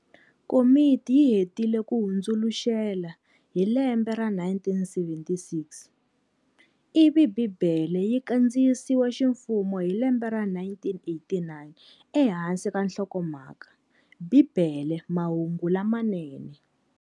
Komiti yi hetile ku hundzuluxela hi lembe ra 1976, ivi Bhibhele yi kandziyisiwe ximfumo hi lembe ra 1989 e hansi ka nhlokomhaka"BIBELE Mahungu Lamanene".